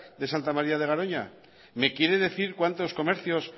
de santa maría de garoña me quiere decir cuántos comercios